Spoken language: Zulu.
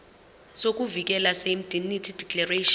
sokuvikeleka seindemnity declaration